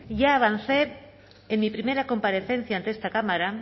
ya avancé en mi primera comparecencia ante esta cámara